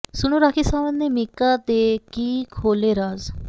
ਸੁਣੋ ਰਾਖੀ ਸਾਵੰਤ ਨੇ ਮੀਕਾ ਦੇ ਕੀ ਖੋਲ੍ਹੇ ਰਾਜ਼